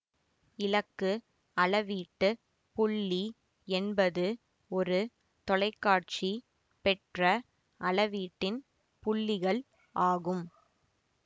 இலக்கு அளவீட்டுப் புள்ளி என்பது ஒரு தொலைக்காட்சி பெற்ற அளவீட்டின் புள்ளிகள் ஆகும்